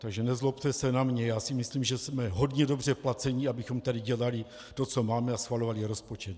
Takže nezlobte se na mě, já si myslím, že jsme hodně dobře placeni, abychom tady dělali to, co máme, a schvalovali rozpočet.